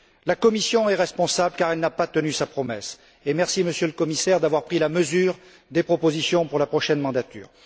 La Commission est responsable car elle n'a pas tenu sa promesse et merci, Monsieur le Commissaire, d'avoir pris la mesure des propositions pour la prochaine mandature.